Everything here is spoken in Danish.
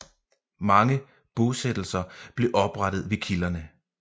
Mange bosættelser blev oprettet ved kilderne